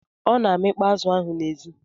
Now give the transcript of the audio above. Ọ na-amịkpọ azu ahụ n'èzí?